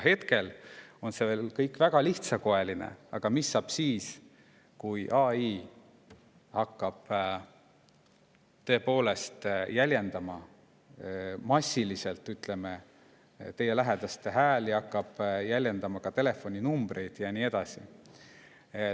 Hetkel on see kõik väga lihtsakoeline, aga mis saab siis, kui AI hakkab tõepoolest jäljendama massiliselt teie lähedaste häält, hakkab jäljendama telefoninumbreid ja nii edasi?